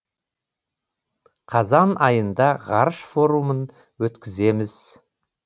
қазан айында ғарыш форумын өткіземіз